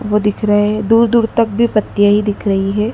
वो दिख रहे हैं दूर दूर तक भी पत्तियां ही दिख रही हैं।